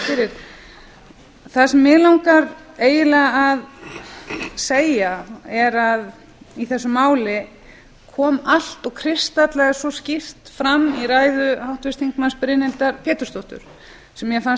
fyrir það sem mig langar eiginlega að segja er að í þessu máli kom allt fram og kristallaðist svo skýrt í ræðu háttvirts þingmanns brynhildar pétursdóttur sem mér fannst